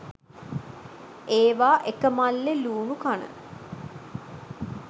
ඒවා එක මල්ලේ ලූණු කන